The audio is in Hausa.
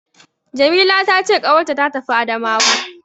Jamila ta ce ƙawarta ta tafi Adamawa.